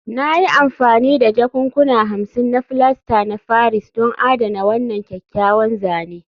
Na yi amfani da jakunkuna hamsin na filasta na Paris don adana wannan kyakkyawan zane